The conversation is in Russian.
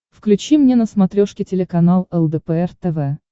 включи мне на смотрешке телеканал лдпр тв